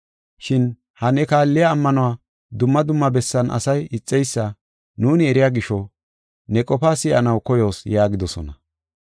Shin ha ne kaalliya ammanuwa dumma dumma bessan asay ixeysa nuuni eriya gisho ne qofaa si7anaw koyoos” yaagidosona.